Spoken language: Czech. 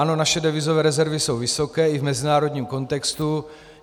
Ano, naše devizové rezervy jsou vysoké i v mezinárodním kontextu.